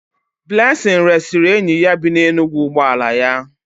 Blessing resịrị enyi ya bi n'Enugwu ụgbọ ala ya.